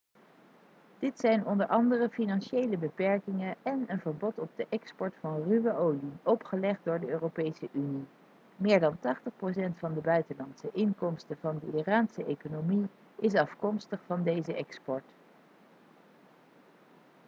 dit zijn onder andere financiële beperkingen en een verbod op de export van ruwe olie opgelegd door de europese unie meer dan 80% van de buitenlandse inkomsten van de iraanse economie is afkomstig van deze export